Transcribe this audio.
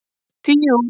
Tíu út.